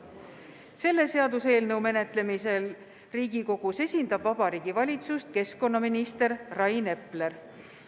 Selle seaduseelnõu menetlemisel Riigikogus esindab Vabariigi Valitsust keskkonnaminister Rain Epler.